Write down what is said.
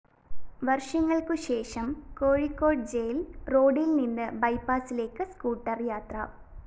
വര്‍ഷങ്ങള്‍ക്കുശേഷം കോഴിക്കോട് ജയില്‍ റോഡില്‍ നിന്ന് ബൈപാസിലേക്ക് സ്കൂട്ടർ യാത്ര